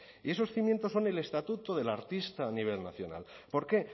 y esos cimientos son el estatuto del artista a nivel nacional por qué